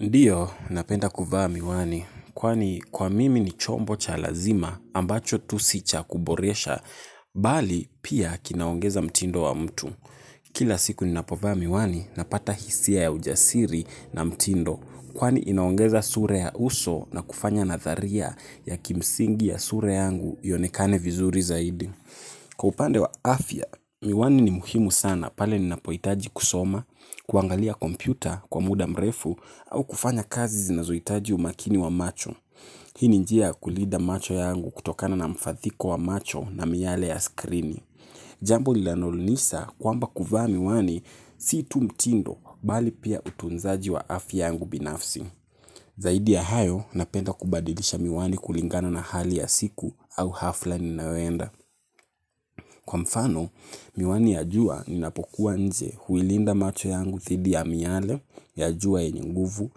Ndiyo, napenda kuvaa miwani, kwani kwa mimi ni chombo cha lazima ambacho tu si cha kuboresha, bali pia kinaongeza mtindo wa mtu. Kila siku ninapovaa miwani, napata hisia ya ujasiri na mtindo, kwani inaongeza sura ya uso na kufanya natharia ya kimsingi ya sura yangu ionekane vizuri zaidi. Kwa upande wa afya, miwani ni muhimu sana pale ninapohitaji kusoma, kuangalia kompyuta kwa muda mrefu au kufanya kazi zinazohitaji umakini wa macho. Hii ni njia kulinda macho yangu kutokana na mfathiko wa macho na miale ya skrini. Jambo lilanolunisa kwamba kuvaa miwani si tu mtindo bali pia utunzaji wa afya yangu binafsi. Zaidi ya hayo napenda kubadilisha miwani kulingana na hali ya siku au hafla ninayoenda. Kwa mfano, miwani ya jua ninapokuwa nje huilinda macho yangu dhidi ya miale, ya jua yenye nguvu,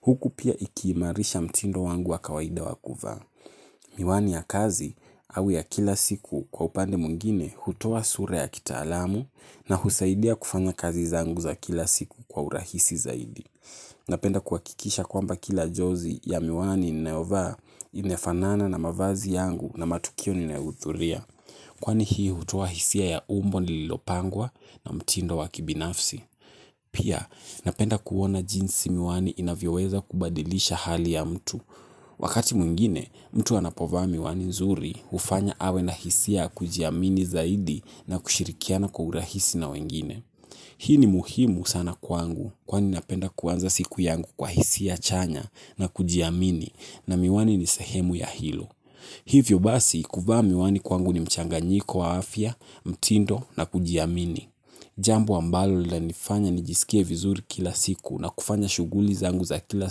huku pia ikiimarisha mtindo wangu wa kawaida wa kuvaa. Miwani ya kazi au ya kila siku kwa upande mwingine hutoa sura ya kitaalamu na husaidia kufanya kazi zangu za kila siku kwa urahisi zaidi. Napenda kuhakikisha kwamba kila jozi ya miwani ninayovaa inafanana na mavazi yangu na matukio ninayohuthuria. Kwani hii hutoa hisia ya umbo nililopangwa na mtindo wa kibinafsi. Pia, napenda kuona jinsi miwani inavyoweza kubadilisha hali ya mtu. Wakati mwingine mtu anapovaa miwani nzuri, hufanywa awe na hisia ya kijiamini zaidi na kushirikiana kwa urahisi na wengine. Hii ni muhimu sana kwangu kwani napenda kuanza siku yangu kwa hisia chanya na kujiamini na miwani ni sehemu ya hilo. Hivyo basi, kuvaa miwani kwangu ni mchanganyiko wa afya, mtindo na kujiamini. Jambo ambalo lilanifanya nijiskie vizuri kila siku na kufanya shughuli zangu za kila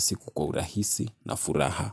siku kwa urahisi na furaha.